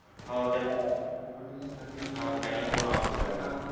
हो त्याला planning करून आऊट केल होत